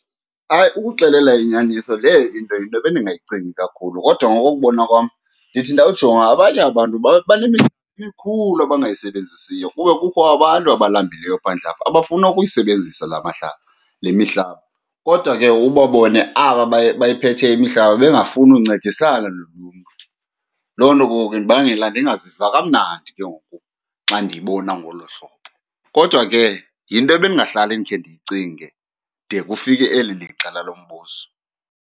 Hayi, ukuxelela inyaniso leyo into yinto ebendingayicingi kakhulu. Kodwa ngokokubona kwam ndithi ndawujonga, abanye abantu emikhulu abangayisebenzisiyo kube kukho abantu abalambileyo phandle apha abafuna ukuyisebenzisa laa mihlaba, le mihlaba, kodwa ke ubabone aba bayiphetheyo imihlaba bengafuni uncedisana noluntu. Loo nto ke ngoku indibangela ndingaziva kamnandi ke ngoku xa ndiyibona ngolo hlobo. Kodwa ke, yinto ebendingahlali ndikhe ndiyicinge de kufike eli lixa lalo mbuzo.